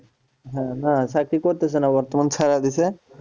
হ্যাঁ না চাকরি করতেছে না বর্তমান ছাড়া দিছে